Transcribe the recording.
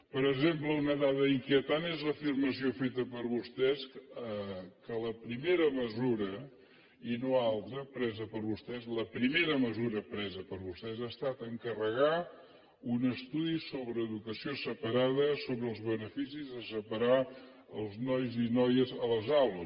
per exemple una dada inquietant és l’afirmació feta per vostès que la primera mesura i no altra presa per vostès la primera mesura presa per vostès ha estat encarregar un estudi sobre educació separada sobre els beneficis de separar els nois i noies a les aules